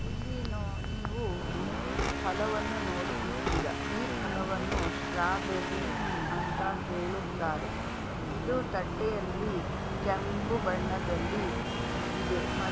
ಇಲ್ಲಿ ನಾ ನೀವು ಫಲವನ್ನು ನೋಡುತ್ತಿದ್ದೀರಾ ಈ ಫಲವನ್ನು ಸ್ಟ್ರಾಬೇರಿ ಅಂತ ಹೇಳುತ್ತಾರೆ ಇದು ತಟ್ಟೆಯಲ್ಲಿ ಕೆಂಪು ಬಣ್ಣದಲ್ಲಿ ಇದೆ ಮತ್ತು --